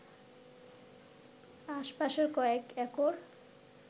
আশপাশের কয়েক একর